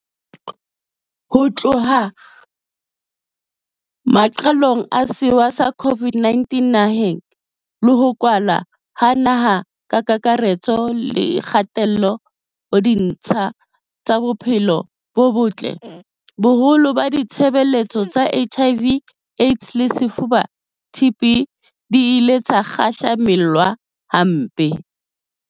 Ho tloha maqalong a sewa sa COVID-19 naheng, le ho kwalwa ha naha ka kakaretso le kgatello ho ditsha tsa bophelo bo botle, boholo ba ditshebeletso tsa HIV, AIDS le lefuba, TB, di ile tsa kgahlamelwa hampe.